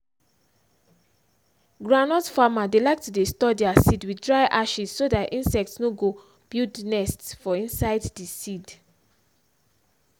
groundnut farmers dey like to dey store their seed with dry ashes so dat insect nor go build nest for inside di seed.